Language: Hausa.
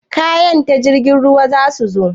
Kayan ta jirgin ruwa zasu zo?